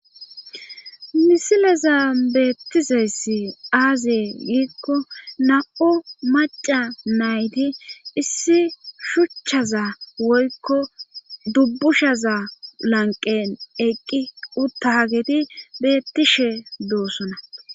misileza beettizayssi aazee giikko na7o maca nayti issi shuchchaza woykko dubbushaza lanqen eqqi uttagedi beettishe doossona